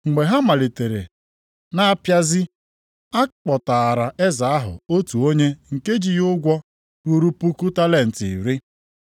Mgbe ha malitere na-apịazi, a kpọtaara eze ahụ otu onye nke ji ya ụgwọ ruru puku talenti iri. + 18:24 Ihe ruru nde naịra abụọ maọbụ karịa.